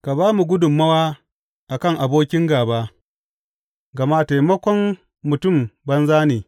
Ka ba mu gudummawa a kan abokin gāba, gama taimakon mutum banza ne.